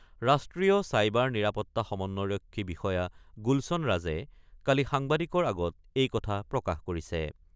ৰাষ্ট্ৰীয় ছাইবাৰ নিৰাপত্তা সমন্বয়ৰক্ষী বিষয়া গুলচন ৰাজে কালি সাংবাদিকৰ আগত এই কথা প্ৰকাশ কৰিছে।